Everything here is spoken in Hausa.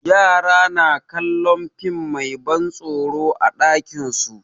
Yara na kallon fim mai ban tsoro a ɗakin su.